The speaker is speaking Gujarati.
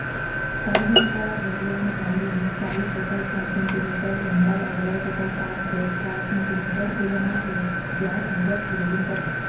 સારી ગુણવત્તાવાળા જરબેરાંની દાંડીની ચાલીસ પચાસ સાહીઠ સેંટીમીટર લંબાઇ આધારે તથા સાત દસ બાર સેંટીમીટર ફૂલોના વ્ય વ્યાસ મુજબ ગ્રેડીંગ કરવું